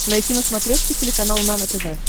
найти на смотрешке телеканал нано тв